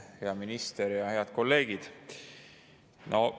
Hea minister ja head kolleegid!